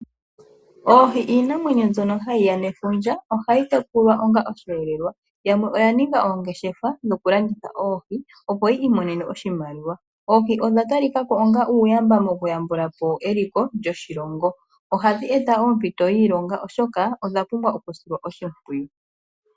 Oohi iinamwenyo mbyono hayi ya nefundja. Ohayi tekulwa onga osheelelwa. Yamwe oya ninga oongeshefa dhoku landitha oohi opo yi imonene oshimaliwa. Oohi odha ta li kako onga uuyamba mokuyambulapo eliko lyoshilongo. Oha dhi eta ompito yiilonga oshoka odha pumbwa oku silwa oshimpwiyu.